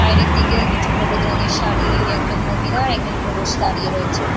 বাইরের দিকেও কিছু হলুদ রঙের শাড়ি-ই একজন মহিলা একজন পুরুষ দাঁড়িয়ে রয়েছে।